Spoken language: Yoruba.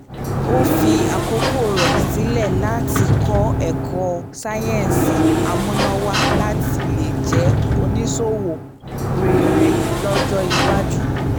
ó fi àkókò rẹ sílẹ̀ láti kọ́ ẹ̀kọ́ sáyẹ́nsì amúnáwáá láti lè jẹ́ oníṣòwò rere lọ́jọ́ iwájú